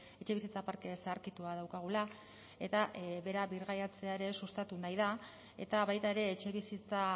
etxebizitza parke zaharkitua daukagula eta bera birgaitzea ere sustatu nahi da eta baita ere etxebizitza